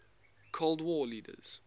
cold war leaders